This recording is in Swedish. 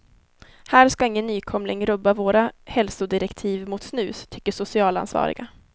Här ska ingen nykomling rubba våra hälsodirektiv mot snus, tycker socialansvariga.